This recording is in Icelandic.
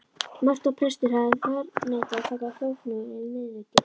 Mörtu að prestur hefði þverneitað að taka þóknun fyrir viðvikið.